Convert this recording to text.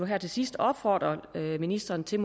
her til sidst opfordre ministeren til